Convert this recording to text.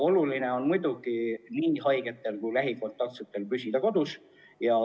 Oluline on muidugi see, et haiged ja lähikontaktsed püsiksid kodus.